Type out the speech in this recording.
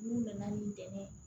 N'u nana n'i dɛmɛ ye